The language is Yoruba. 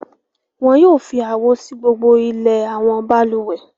Wọn yóò fi àwo sí gbogbo ilẹ̀ àwọn balùwẹ̀.